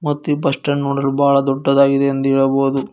ಮತ್ತು ಈ bus stand ನೋಡಲು ಬಹಳ ದೊಡ್ಡದಾಗಿದೆ ಎಂದು ಹೇಳಬಹುದು.